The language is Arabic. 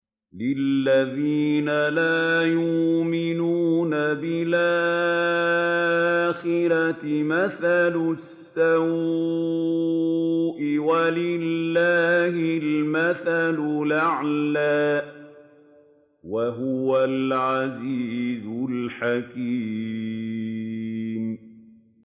لِلَّذِينَ لَا يُؤْمِنُونَ بِالْآخِرَةِ مَثَلُ السَّوْءِ ۖ وَلِلَّهِ الْمَثَلُ الْأَعْلَىٰ ۚ وَهُوَ الْعَزِيزُ الْحَكِيمُ